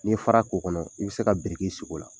N'i ye fara k'o kɔnɔ i bi se ka sigi o la.